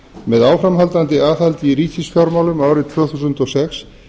með áframhaldandi aðhaldi í ríkisfjármálum árið tvö þúsund og sex